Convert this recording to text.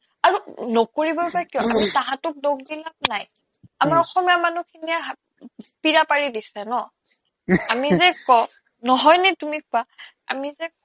আৰু নকৰিবই বা কিয় তাহাতক দোষ দি লাভ নাই আমাৰ অসমীয়া মানুহখিনিয়ে হাব পীৰা পাৰি দিছে ন আমি যে কও নহয়নে তুমি কোৱা আমি যে